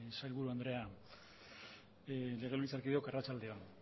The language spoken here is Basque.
sailburu andrea legebiltzarkideok arratsalde on